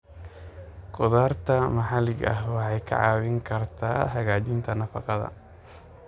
Khudaarta maxalliga ah waxay kaa caawin kartaa hagaajinta nafaqada.